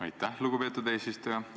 Aitäh, lugupeetud eesistuja!